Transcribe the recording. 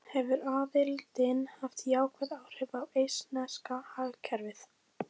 Þorbjörn Þórðarson: Hefur aðildin haft jákvæð áhrif á eistneska hagkerfið?